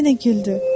O yenə güldü.